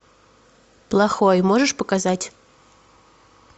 плохой можешь показать